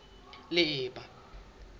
leeba